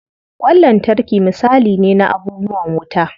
Ƙwan lantarki misali ne na abubuwan wuta.